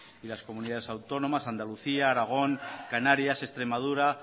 y las comunidades autónomas andalucía aragón canarias extremadura